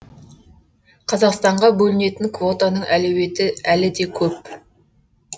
қазақстанға бөлінетін квотаның әлеуеті әлі де көп